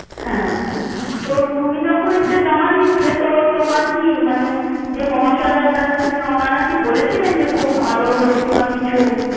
হ্যাঁ, তো তুমি যখন এইটা জমা দিয়েছিলে, তো তোমার কি মানে যে মহাশয়রা যারা ছিলেন, ওনারা কি বলেছিলেন যে খুব ভালো হয়েছে বা কিছু?